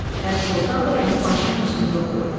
Pərisoltan da onun başının üstündə oturub.